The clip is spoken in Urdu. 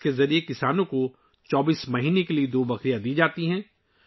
اس کے ذریعے کسانوں کو 24 ماہ کے لیے دو بکریاں دی جاتی ہیں